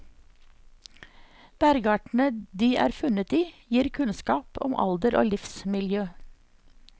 Bergartene de er funnet i, gir kunnskap om alder og livsmiljø.